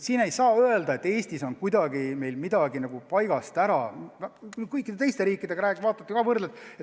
Ja ei saa öelda, et Eestis on midagi eriliselt paigast ära – ma olen teiste riikide inimestega rääkinud ja võrrelnud.